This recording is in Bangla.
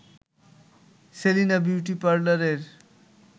সেলিনা বিউটি পার্লারের